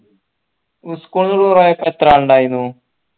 school tour പോയപ്പോ എത്ര ആൾ ഇണ്ടായിർന്നു